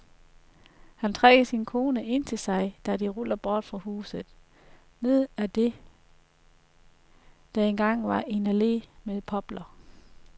Han trækker sin kone ind til sig, da de ruller bort fra huset, ned ad det der engang var en allé med popler.